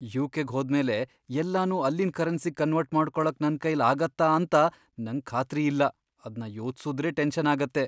ಯು.ಕೆ.ಗ್ ಹೋದ್ಮೇಲೆ ಎಲ್ಲನೂ ಅಲ್ಲಿನ್ ಕರೆನ್ಸಿಗ್ ಕನ್ವರ್ಟ್ ಮಾಡ್ಕೊಳಕ್ ನನ್ಕೈಲ್ ಆಗತ್ತಾಂತ ನಂಗ್ ಖಾತ್ರಿಯಿಲ್ಲ, ಅದ್ನ ಯೋಚ್ಸುದ್ರೇ ಟೆನ್ಷನ್ ಆಗತ್ತೆ.